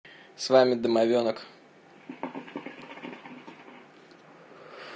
с вами домовенок